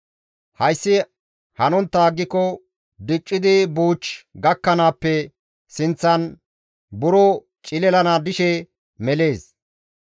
Hayssi hanontta aggiko diccidi buuch gakkanaappe sinththan buro cililan dishe melees.